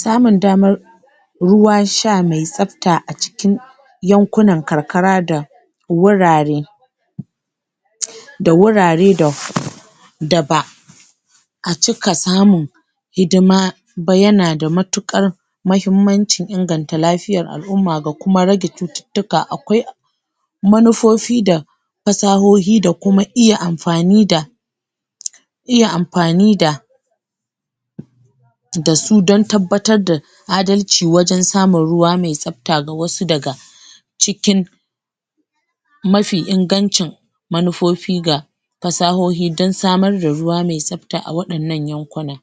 samun damar ruwan sha me tsabta a cikin yankunan karkara da wurare da wurare da da ba a cika samun hidima ba yana da matuƙar mahimmancin inganta lafiyar al'umma ga kuma rage cututtuka akwai manufofi da fasahohi da kuma iya amfani da iya amfani da da su don tabbatar da adalci wajen samun ruwa me tsabta ga wasu daga cikin mafi ingancin manufofi ga fasahohi dan samar da ruwa me tsabta a waɗannan yankunan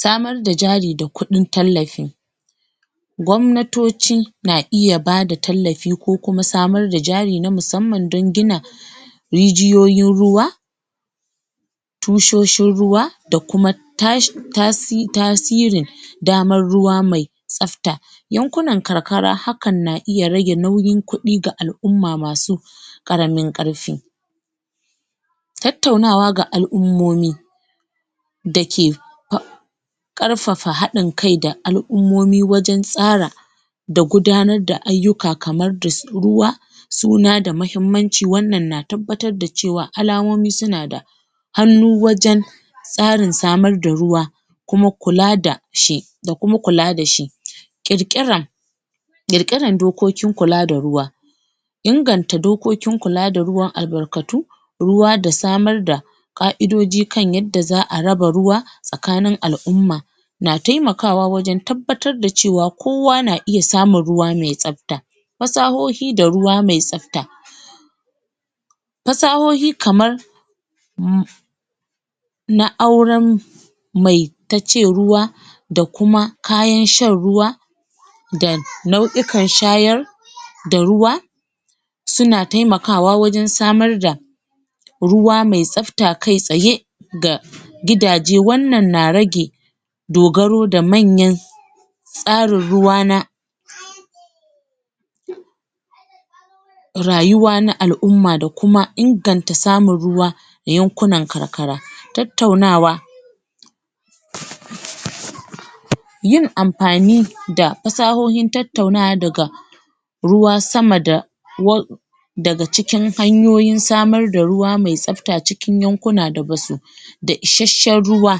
samar da jari da kuɗin tallafi gwamnatoci na iya bada tallafi ko kuma samar da jari na musamman don gina rijiyoyin ruwa tushoshin ruwa da kuma tasirin damar ruwa me tsafta yankunan karkara hakan na iya rage nauyin kuɗi ga al'umma masu ƙaramin ƙarfi tattaunawa ga al'ummomi da ke ƙarfafa haɗin kai da al'ummomi wajen tsara da gudanar da ayyuka kamar su ruwa suna da muhimmanci wannan na tabbatar da cewa alamomi suna da hannu wajen tsarin samar da ruwa kuma kula da shi da kuma kula da shi ƙirƙirar ƙirƙirar dokokin kula da ruwa inganta dokokin kula da ruwan albarkatu ruwa da samar da ƙa'idoji kan yanda za'a raba ruwa tsakanin al'umma na temakawa wajen tabbatar da cewa kowa na iya samun ruwa me tsabta fasahohi da ruwa me tsafta fasahohi kamar na auren mai tace ruwa da kuma kayan shan ruwa da nau'ikan shayar da ruwa suna temakawa wajen samar da ruwa me tsafta kai tsaye ga gidaje wannan na rage dogaro da manyan tsarin ruwa na rayuwa na al'umma da kuma inganta samun ruwa yankunan karkara tattaunawa yin amfani da fasahohin tattaunawa daga ruwa sama da daga cikin hanyoyin samar da ruwa me tsafta cikin yankuna da basu isashshen ruwa